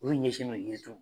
U y'u ɲɛsin anw ka deminsɛnniw